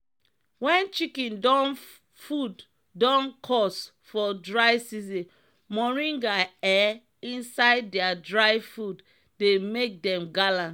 wen chicken don food don cost for dry season moringa um inisde dia dry food dey make dem gallant.